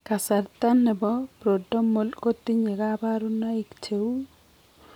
Kasarta noton nebo prodromal kotinye kabarunaik cheuu